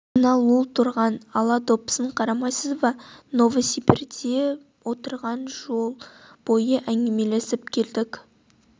ана лул тұрған ала допысын қарамайсыз ба новосибирде отырған жол бойы әңгімелесіп келдік